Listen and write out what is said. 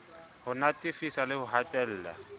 ho natefisa le ho hatella